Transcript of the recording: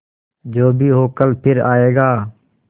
जो भी हो कल फिर आएगा